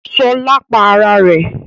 Ṣọlá pa ara rẹ̀?